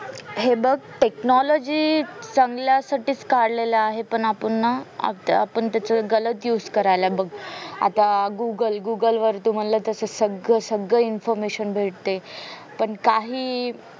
हे बग technology चांगल्या साठी काढलेल्या आहे पण आपुन ना आपुन त्याच्या गलात used करायला बग आता google google वर तू म्हणलं तस सगळं सगळं informetion भेटतेय पण